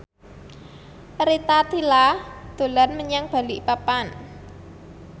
Rita Tila dolan menyang Balikpapan